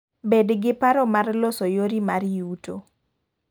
Bed giparo mar loso yori mar yuto.